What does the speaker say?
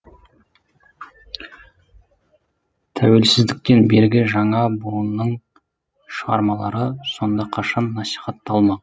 тәуелсіздіктен бергі жаңа буынның шығармалары сонда қашан насихатталмақ